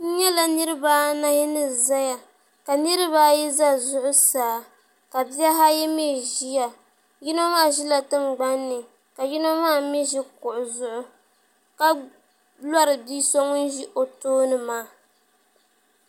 N nyɛla niraba anahi ni ʒɛya ka niraba ayi ʒɛ zuɣusaa ka bihi ayi mii ʒiya yino maa ʒila tingbanni ka yino maa mii ʒi kuɣu zuɣu ka lori bia so ŋun ʒi o tooni maa